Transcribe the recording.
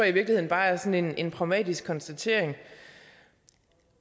i virkeligheden bare er sådan en pragmatisk konstatering